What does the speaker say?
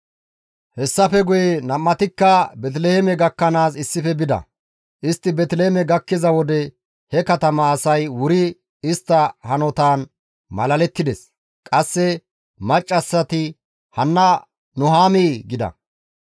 Hessafe guye nam7atikka Beeteliheeme gakkanaas issife bida. Istti Beeteliheeme gakkiza wode he katama asay wuri istta hanotaan malalettides. Qasse maccassati, «Hanna Nuhaamii?» gida.